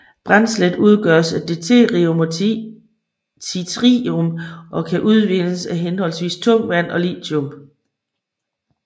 Brændslet udgøres af deuterium og tritium som kan udvindes af henholdsvis tungt vand og lithium